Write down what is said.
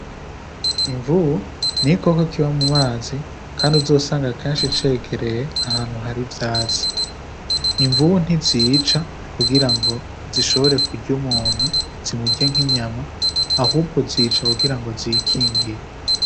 Imvubu n'igikoko kiba mu mazi kandi uzosanga kenshi cegereye ahantu hari ivyatsi imvubu ntizica kugirango zishobore kurya umuntu zimurye nk'inyama ahubwo zica kugirango zikingire.